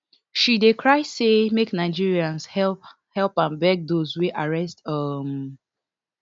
she dey cry say make nigerians help am beg dos wey arrest um